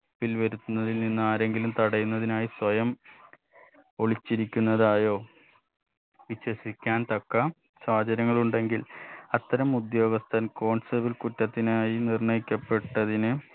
പ്പിൽ വരുത്തുന്നതിൽ നിന്ന് ആരെങ്കിലും തടയുന്നതിനായി സ്വയം ഒളിച്ചിരിക്കുന്നതായോ വിശ്വസിക്കാൻ തക്ക സാഹചര്യങ്ങൾ ഉണ്ടെങ്കിൽ അത്തരം ഉദ്യോഗസ്ഥൻ constable കുറ്റത്തിനായി നിർണയിക്കപ്പെട്ടതിന്